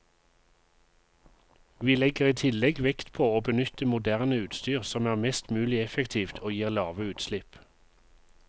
Vi legger i tillegg vekt på å benytte moderne utstyr som er mest mulig effektivt og gir lave utslipp.